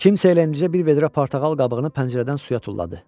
Kimsə elə indicə bir vedrə portağal qabığını pəncərədən suya tulladı.